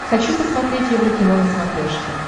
хочу посмотреть еврокино на смотрешке